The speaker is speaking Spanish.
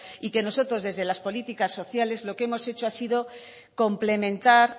y que nosotros desde las políticas sociales lo que hemos hecho ha sido complementar